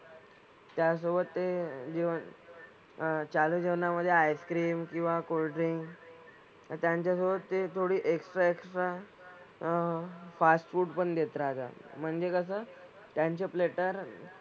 त्याचसोबत ते जेवण अह चालू जेवणामधे आईसक्रीम किंवा कोल्ड ड्रिंक आणि त्यांच्यासोबत ते थोडी एक्सट्रा एक्सट्रा अह फास्ट फूड पण देत राहतात म्हणजे कसं त्यांचे प्लेटर